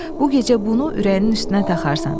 Bu gecə bunu ürəyinin üstünə taxarsan.